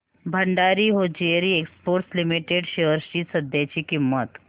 Bhandari hosiery exports limited shares ची सध्याची किंमत